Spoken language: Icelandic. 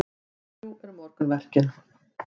Drjúg eru morgunverkin.